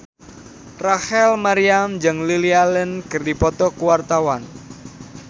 Rachel Maryam jeung Lily Allen keur dipoto ku wartawan